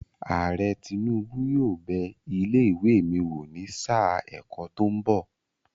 Ààrẹ Tinubu yóò bẹ ilé ìwé mi wò ní sáà ẹ̀kọ́ tó ń bọ̀.